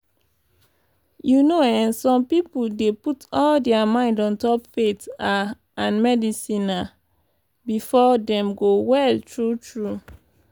you know eh some pipo dey put all dia mind ontop faith ah and medicine ah befor dem go well tru tru?